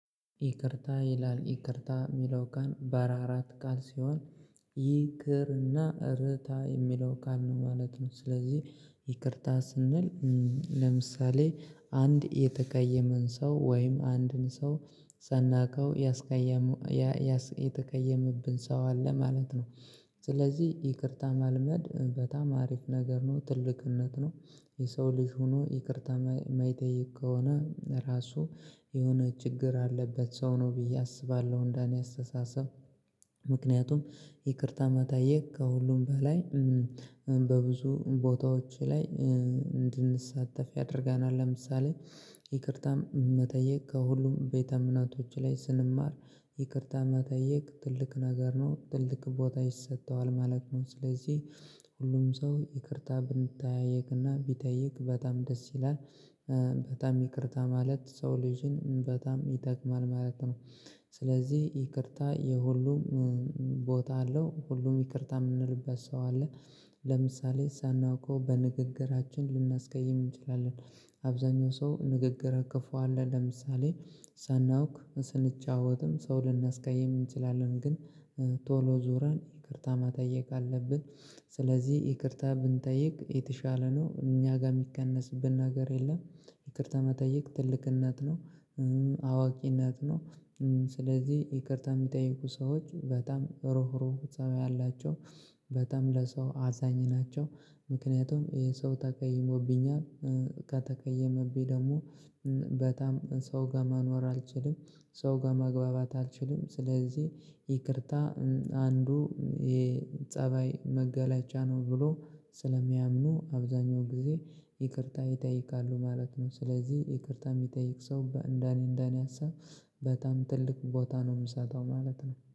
ይቅርታ ይላል ይቅርታ የሚለው ቃል ባለ አራት ቃል ሲሆን ይቅር እና ርታ የሚለው ቃል ነው ማለት ነው። ስለዚህ ይቅርታ ስንል ለምሳሌ አንድ የተቀየመን ሰው ወይም አንድን ሰው ሳናውቀው የተቀየመብን ሰው አለ ማለት ነው ስለዚህ ይቅርታ ማልመድ በጣም አሪፍ ነገር ነው ትልቅነት ነው። የሰው ልጅ ሆኖ ይቅርታ የማይጠይቅ ከሆነ ራሱ የሆነ ችግር አለበት ሰው ነው ብዬ አስባለሁ እንደኔ አስተሳሰብ። ምክንያቱም ይቅርታ መጠየቅ ከሁሉም በላይ በብዙ ቦታዎች ላይ እንድንሳተፍ ያደርገናል። ለምሳሌ ይቅርታ መጠየቅ ከሁሉም ቤተ እምነቶች ላይ ስንማር ይቅርታ መጠየቅ ትልቅ ነገር ነው ትልቅ ቦታ ይሰጠዋል ማለት ነው። ስለዚህ ሁሉም ሰው ይቅርታ ብንጠያየቅና ቢጠይቅ በጣም ደስ ይላል። በጣም ይቅርታ ማለት ሰው ልጅን በጣም ይጠቅማል ማለት ነው። ስለዚህ ይቅርታ የሁሉም ቦታ አለው ሁሉም ይቅርታ የምንልበት ሰው አለ። ለምሳሌ ሳናውቀው በንግግራችን ልናስቀይም እንችላለን። አብዛኛው ሰው ንግግረ ክፉ አለ ለምሳሌ ሳናውቅ ስንጫወትም ሰው ልናስቃይም እንችላለን ግን። ቶሎ ዞረን ይቅርታ መጠየቅ አለብን። ስለዚህ ይቅርታ ብንጠይቅ የተሻለ ነው እኛ ጋር የሚቀነስብን ነገር የለም። ይቅርታ መጠየቅ ትልቅነት ነው። አዋቂነት ነው። ስለዚህ ይቅርታ የሚጠይቁ ሰዎች በጣም ሩህሩህ ፀባይ ያላቸው በጣም ለሰው አዛኝ ናቸው። ምክንያቱም ይሄ ሰው ተቀይሞብኛል። ከተቀየመብኝ ደግሞ በጣም ሰው ጋር መኖር አልችልም። ሰው ጋር መግባባት አልችልም ስለዚህ ይቅርታ አንዱ የፀባይ መገለጫ ነው። ብሎ ስለሚያምኑ አብዛኛው ጊዜ ይቅርታ ይጠይቃሉ ማለት ነው። ስለዚህ ይቅርታ የሚጠይቅ ሰው እንደኔ እንደኔ ሀሳብ በጣም ትልቅ ቦታ ነው የምሰጠው ማለት ነው